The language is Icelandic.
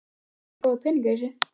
Það er góður peningur í þessu.